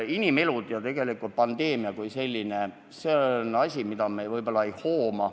Inimelud ja pandeemia kui selline – need on asjad, mida me võib-olla päriselt ei hooma.